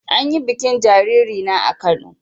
An yi bikin sunan jariri na a Kano.